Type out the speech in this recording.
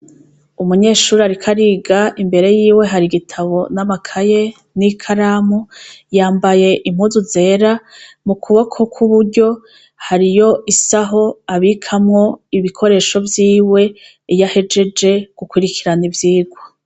Umunyeshuri arika ariga imbere yiwe hari igitabo n'amakaye n'i kalamu yambaye impuzu zera mu kuboko kw'uburyo hariyo isaho abikamwo ibikoresho vyiwe yahejeje gukurikirana ivyirwa.